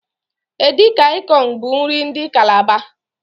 Edi kan ikong bu nri ndi Kalaba.